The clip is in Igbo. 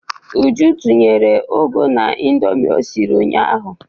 Uju tinyere ụgụ n'Indomi o siri ụnyaahụ.